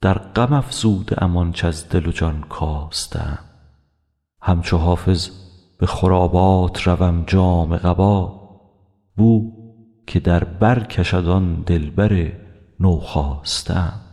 در غم افزوده ام آنچ از دل و جان کاسته ام همچو حافظ به خرابات روم جامه قبا بو که در بر کشد آن دلبر نوخاسته ام